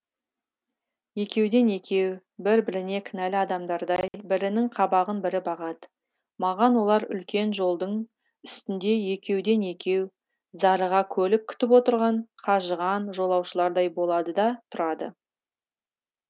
екеуден екеу бір біріне кінәлі адамдардай бірінің қабағын бірі бағады маған олар үлкен жолдың үстінде екеуден екеу зарыға көлік күтіп отырған қажыған жолаушылардай болады да тұрады